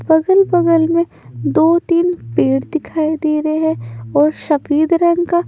बगल-बगल में दो-तीन पेड़ दिखाई दे रहे हैं और शफेद रंग का--